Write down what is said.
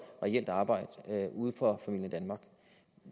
reelt arbejde for familien danmark